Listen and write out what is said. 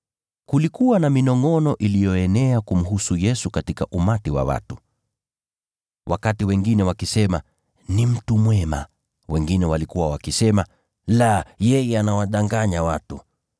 Kulikuwa na minongʼono iliyoenea kumhusu Yesu katika umati wa watu, wakati wengine wakisema, “Ni mtu mwema.” Wengine walikuwa wakisema, “La, yeye anawadanganya watu.”